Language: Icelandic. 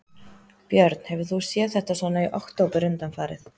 Björn: Hefur þú séð þetta svona í október undanfarið?